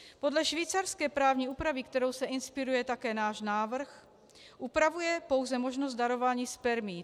Podle švýcarské právní úpravy, kterou se inspiruje také náš návrh, upravuje pouze možnost darování spermií.